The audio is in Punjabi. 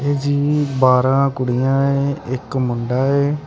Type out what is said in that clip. ਜੀ ਬਾਹਰਾ ਕੁੜੀਆਂ ਏ ਇੱਕ ਮੁੰਡਾ ਏ।